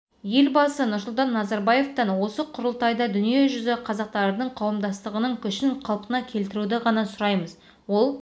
елбасы нұрсұлтан назарбаевтан осы құрылтайда дүние жүзі қазақтарының қауымдастығының күшін қалпына келтіруді ғана сұраймыз ол